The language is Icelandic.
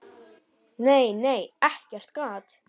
Nei, nei, ekkert gat!